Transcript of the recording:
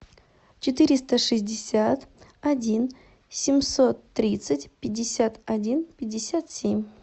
четыреста шестьдесят один семьсот тридцать пятьдесят один пятьдесят семь